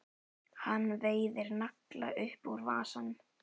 Hann veiðir nagla upp úr vasanum.